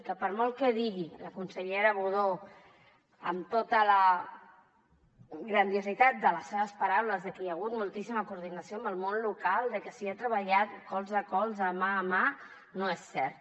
que per molt que digui la consellera budó amb tota la grandiositat de les seves paraules de que hi ha hagut moltíssima coordinació amb el món local de que s’hi ha treballat colze a colze mà a mà no és cert